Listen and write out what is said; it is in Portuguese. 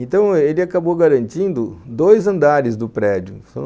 Então, ele acabou garantindo dois andares do prédio.